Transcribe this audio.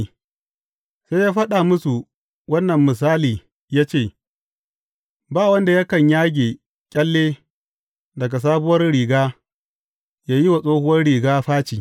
Sai ya faɗa musu wannan misali ya ce, Ba wanda yakan yage ƙyalle daga sabuwar riga ya yi wa tsohuwar riga faci.